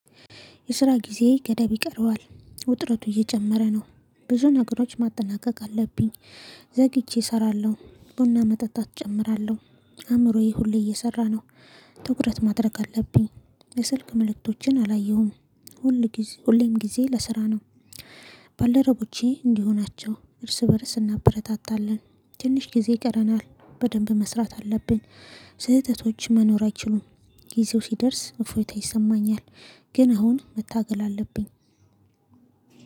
የስራ ጊዜ ገደብ ይቀረዋል ውጥረቱ እየጨመረ ነው። ብዙ ነገሮች ማጠናቀቅ አለብኝ። ዘግይቼ እሰራለሁ ቡና መጠጣት እጨምራለሁ። አእምሮዬ ሁሌ እየሰራ ነው። ትኩረት ማድረግ አለብኝ። የስልክ ምልክቶችን አላየሁም። ሁሌም ጊዜ ለስራ ነው። ባለረቦቼ እንዲሁ ናቸው እርስ በእርስ እናበረታታለን። ትንሽ ጊዜ ይቀረናል በደንብ መስራት አለብኝ። ስህተቶች መኖር አይችሉም። ጊዜው ሲደርስ እፎይታ ይሰማኛል። ግን አሁን መታገል አለብኝ።